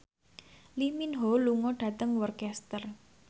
Lee Min Ho lunga dhateng Worcester